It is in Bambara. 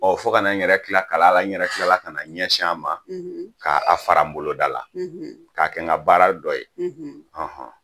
Ɔ fo ka na n yɛrɛ tila kalan la n yɛrɛ kilala ka na n ɲɛsin a ma ka a fara bolodala k'a kɛ n ka baara dɔ ye ɔnhɔn